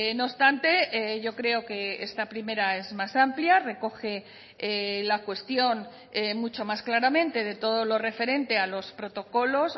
no obstante yo creo que esta primera es más amplia recoge la cuestión mucho más claramente de todo lo referente a los protocolos